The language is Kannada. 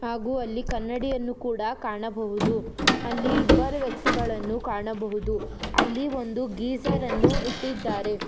ಹಾಗು ಅಲ್ಲಿ ಕನ್ನಡಿಯನ್ನು ಕೂಡ ಕಾಣಬಹುದು ಅಲ್ಲಿ ಇಬ್ಬರು ವ್ಯಕ್ತಿಗಳನ್ನು ಕಾಣಬಹುದು ಅಲ್ಲಿ ಒಂದು ಗೀಸರ್ ಅನ್ನು ಇಟ್ಟಿದ್ದಾರೆ.